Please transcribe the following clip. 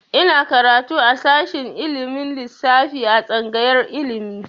Ina karatu a shashin ilimin lissafi a tsangayar ilimi.